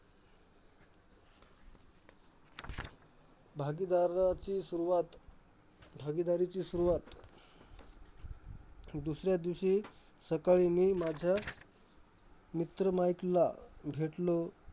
भागीदाराची सुरुवात भागीदारीची सुरुवात दुसऱ्या दिवशी सकाळी मी माझ्या मित्र माईकला भेटलो.